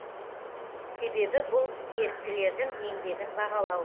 себебі бұл еріктілердің еңбегін бағалау